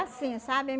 Assim, sabe?